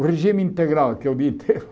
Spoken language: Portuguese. O regime integral, que é o dia inteiro.